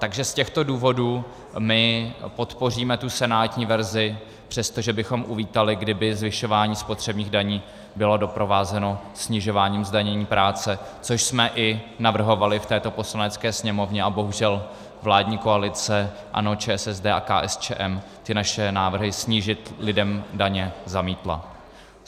Takže z těchto důvodů my podpoříme tu senátní verzi, přestože bychom uvítali, kdyby zvyšování spotřebních daní bylo doprovázeno snižováním zdanění práce, což jsme i navrhovali v této Poslanecké sněmovně, a bohužel vládní koalice ANO, ČSSD a KSČM ty naše návrhy snížit lidem daně zamítla.